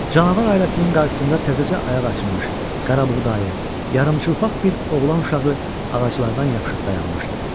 Canavar ailəsinin qarşısında təzəcə ayaq açmış, qarabuğdayı, yarıçılpaq bir oğlan uşağı ağaclardan yapışıb dayanmışdı.